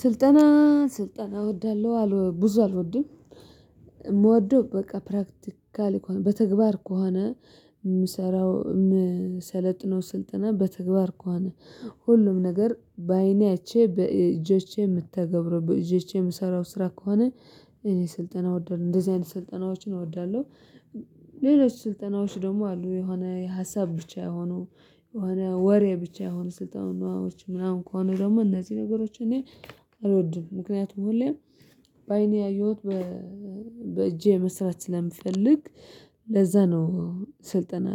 ስልጠና ስልጠና እወዳለሁ ብዙ አልወድም። የምወደው በቃ ፕራክቲካል ከሆነ በተግባር ከሆነ ምሰራው የምሰለጥነው ስልጠና በተግባር ከሆነ ሁሉም ነገር በአይኔ እቼ በእጆቼ የምተገብረው በእጆቼ የምሰራው ስራ ከሆነ። እኔ ስልጠና እወዳለሁ እንደዚህ አይነት ስልጠናዎችን እወዳለሁ። ሌሎች ስልጠናዎች ደግሞ አሉ የሆነ ሀሳብ ብቻ የሆኑ የሆነ ወሬ ብቻ የሆኑ ስልጠናዎች ምናምን ከሆኑ ደግሞ እነዚህ ነገሮች እኔ አልወድም። ምክንያቱም ሁሌም በአይኔ ያየሁት በእጄ መስራት ስለምፈልግ ለዛ ነው። ስልጠና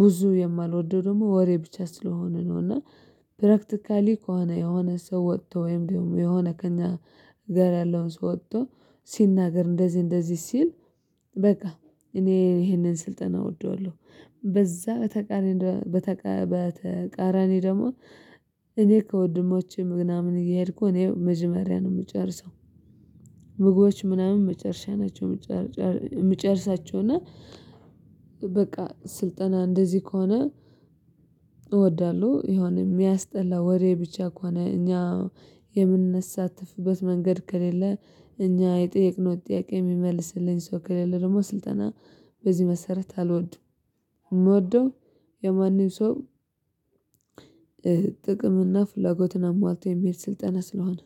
ብዙ የማልወደው ደግሞ ወሬ ብቻ ስለሆነ ነው። እና ፕራክቲካሊ ከሆነ የሆነ ሰው ወጥቶ ወይም ደግሞ የሆነ ከእኛ ጋር ያለውን ሰው ወጥቶ ሲናገር እንደዚህ እንደዚህ ሲል በቃ እኔ ይሄንን ስልጠና እወደዋለሁ። በዛ በተቃራኒ ደግሞ እኔ ከወንድሞቼ ምናምን እየሄድኩ እኔ መጀመሪያ ነው የምጨርሰው። ምግቦች ምናምን መጨረሻ ናቸው የምጨርሳቸው እና በቃ ስልጠና እንደዚህ ከሆነ እወዳለሁ። የሆነ የሚያስጠላ ወሬ ብቻ ከሆነ እኛ የምንሳተፍበት መንገድ ከሌለ እኛ የጠየቅነው ጥያቄ የሚመልስልን ሰው ከሌለ ደግሞ ስልጠና በዚህ መሰረት አልወድም። ምወደው የማንም ሰው ጥቅም እና ፍላጎትን አሟልቶ የሚሄድ ስልጠና ስለሆነ